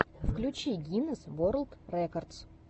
включи гинесс ворлд рекордс